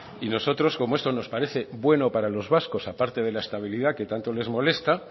y nosotros como esto nos parece bueno para los vascos a parte de la estabilidad que tanto les molesta